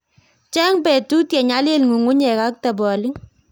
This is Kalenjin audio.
Cheng petut ye nyalil ng'ung'unyek ak tabolik